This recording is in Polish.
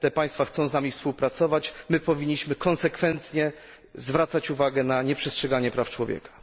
Te państwa chcą z nami współpracować, my powinniśmy konsekwentnie zwracać uwagę na nieprzestrzeganie praw człowieka.